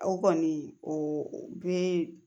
O kɔni o bee